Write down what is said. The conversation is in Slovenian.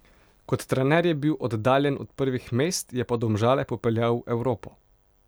Kot trener je bil oddaljen od prvih mest, je pa Domžale popeljal v Evropo.